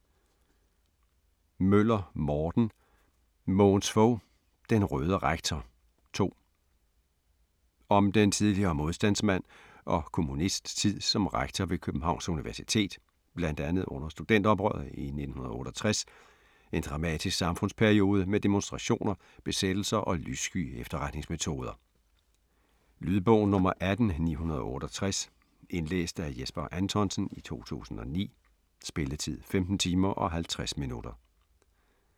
Møller, Morten: Mogens Fog: Den røde rektor: 2 Om den tidligere modstandsmand og kommunists tid som rektor ved Københavns Universitet, bl.a. under studenteroprøret i 1968 - en dramatisk samfundsperiode med demonstrationer, besættelser og lyssky efterretningsmetoder. Lydbog 18968 Indlæst af Jesper Anthonsen, 2009. Spilletid: 15 timer, 50 minutter.